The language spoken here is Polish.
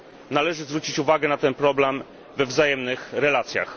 Należy zwrócić uwagę na ten problem we wzajemnych relacjach.